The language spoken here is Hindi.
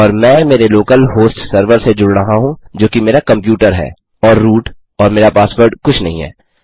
और मैं मेरे लोकल होस्ट सर्वर से जुड़ रहा हूँ जोकि मेरा कम्प्यूटर है और रूट और मेरा पासवर्ड कुछ नहीं है